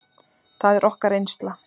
Það er okkar reynsla.